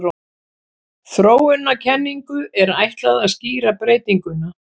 Þróunarkenningu er ætlað að skýra breytinguna.